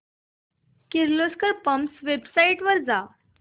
Kirloskar pumps च्या website वर जा